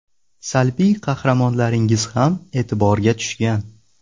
Salbiy qahramonlaringiz ham e’tiborga tushgan.